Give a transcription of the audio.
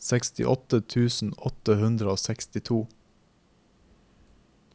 sekstiåtte tusen åtte hundre og sekstito